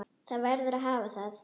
Það verður að hafa það.